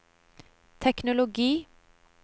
teknologi